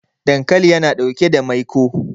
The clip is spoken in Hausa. dankali yana ɗauke da maiko